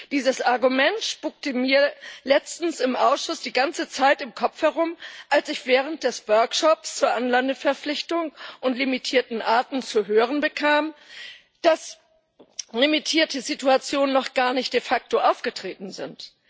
Dieses Argument spukte mir letztens im Ausschuss die ganze Zeit im Kopf herum, als ich während des Workshops zu Anlandeverpflichtung und limitierten Arten zu hören bekam, dass limitierte Situationen de facto noch gar nicht aufgetreten sind.